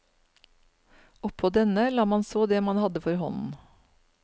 Oppå denne la man så det man hadde for hånden.